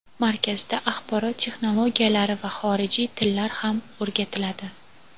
Markazda axborot texnologiyalari va xorijiy tillar ham o‘rgatiladi.